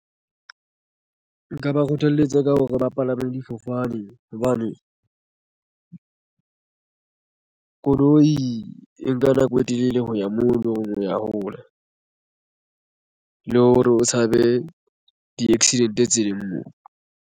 Nka ba kgothaletsa ka hore ba palame difofane hobane koloi e nka nako e telele ho ya moo o ya hole le hore o tshabe di-accident tseleng moo.